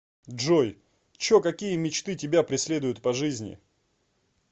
джой чо какие мечты тебя преследуют по жизни